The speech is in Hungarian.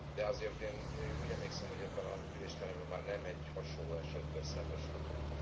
De azért én úgy emlékszem, hogy ebben az ülésteremben már nem egy hasonló esettel szembesültünk.